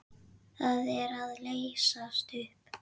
Það er að leysast upp.